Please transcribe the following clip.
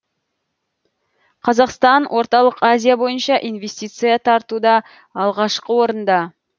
қазақстан орталық азия бойынша инвестиция тартуда алғашқы орында